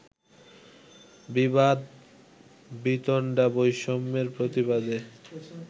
বিবাদ-বিতণ্ডা-বৈষম্যের প্রতিবাদে